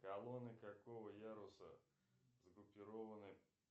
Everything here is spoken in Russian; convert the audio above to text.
колонны какого яруса сгруппированы